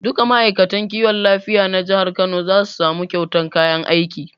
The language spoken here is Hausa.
Duka ma'aikatan kiwon lafiya na jihar kano za su samu kyautan kayan aiki